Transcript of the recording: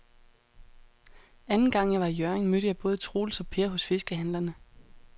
Anden gang jeg var i Hjørring, mødte jeg både Troels og Per hos fiskehandlerne.